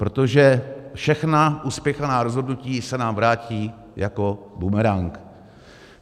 Protože všechna uspěchaná rozhodnutí se nám vrátí jako bumerang.